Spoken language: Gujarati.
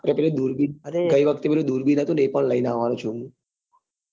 ને પેલું દૂરબીન ગઈ વખતે પેલું દૂરબીન હતું ને એ બી લઇ ને આવવા નું છે